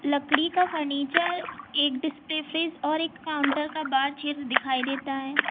लकड़ी का फर्नीचर एक डिशपे फ्रिज और एक काउंटर का बाहर क्षेत्र दिखाई देता है।